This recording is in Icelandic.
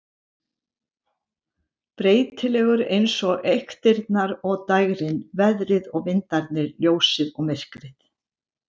Breytilegur eins og eyktirnar og dægrin, veðrið og vindarnir, ljósið og myrkrið.